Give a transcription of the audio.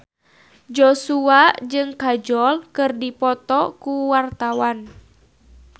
Joshua jeung Kajol keur dipoto ku wartawan